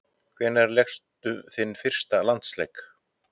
Hvenær lékstu þinn fyrsta landsleik?